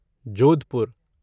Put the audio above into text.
Jodhpur